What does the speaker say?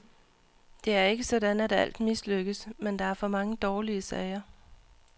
Det er ikke sådan at alt mislykkes, men der er for mange dårlige sager.